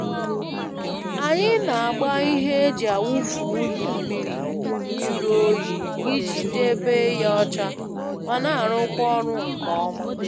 Anyị na-agba ihe e ji awụfụ unyi mmiri juru oyi iji debe ya ọcha ma na-arụkwa ọrụ nke ọma.